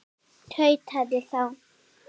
tautaði þá